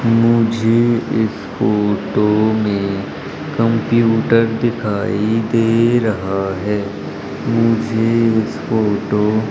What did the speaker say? मुझे इस फोटो मे कंप्यूटर दिखाई दे रहा है मुझे इस फोटो --